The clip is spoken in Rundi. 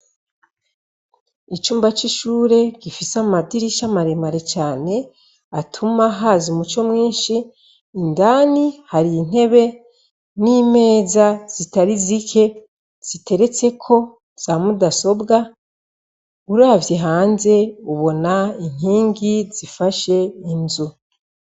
Icumba c'ishure gifise amadirisha maremare cane atuma haza umuco mwinshi ,indani hari intebe n'imeza zitari zike ziteretseko za mudasobwa, uravye hanze ubona inkingi zifsashe inzu.